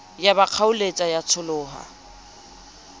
ya ba kgaoletsa ya tsholoha